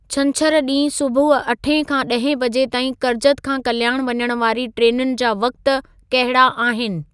छंछर ॾींहुं सुबुह अठे खां ॾहें बजे ताईं कर्जत खां कल्याणु वञण वारी ट्रेनुनि जा वक़्त कहिड़ा आहिनि